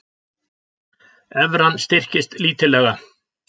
Evran styrkist lítillega